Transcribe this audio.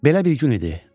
Belə bir gün idi.